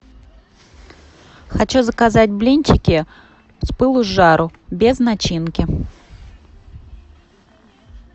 хочу заказать блинчики с пылу с жару без начинки